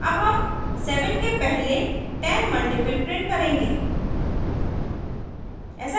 अब हम 7 के पहले 10 multiples print करेंगे